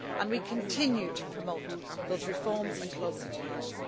Policy. We continue to promote those reforms and closer